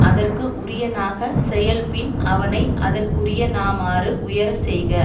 அதற்கு உரியனாக செயல் பின் அவனை அதற்குரியனாமாறு உயரச்செய்க